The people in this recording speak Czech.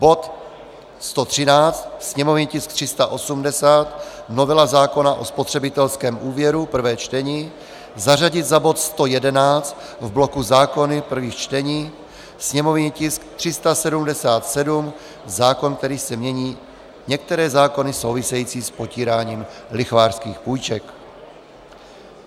Bod 113, sněmovní tisk 380 - novela zákona o spotřebitelském úvěru, prvé čtení zařadit za bod 111 v bloku zákony prvých čtení, sněmovní tisk 377 - zákon, kterým se mění některé zákony související s potíráním lichvářských půjček.